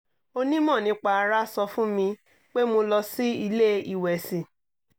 onímọ̀ nípa ara sọ fún mi pé mo lọ sí ilé ìwẹ̀sì